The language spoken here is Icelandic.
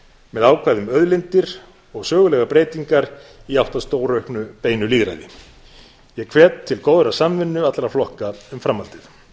með ákvæði um auðlindir og sögulegar breytingar í átt að stórauknu beinu lýðræði ég hvet til góðrar samvinnu allra flokka um framhaldið